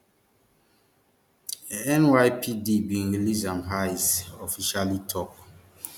nypd bin release am ice officially tok